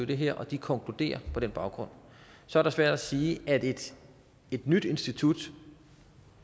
det her og de konkluderer på den baggrund så er det svært at sige at et nyt institut